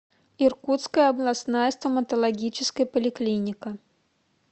иркутская областная стоматологическая поликлиника